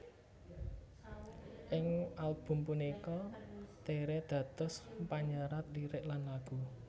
Ing album punika Tere dados panyerat lirik lan lagu